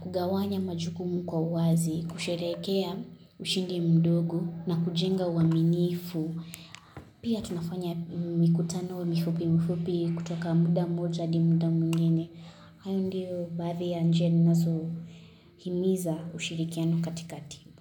kugawanya majukumu kwa uwazi, kusherekea ushindi mdogo na kujenga uaminifu pia tunafanya mikutano mifupi mifupi kutoka muda moja adi muda mwingine hayo ndio baadhi ya njia ninazohimiza ushirikiano katika timbu.